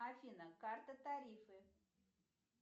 афина карта тарифы